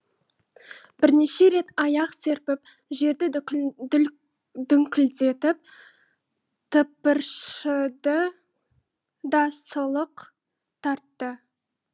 бірнеше рет аяқ серпіп жерді дүңкілдетіп тыпыршыды да сұлық тартты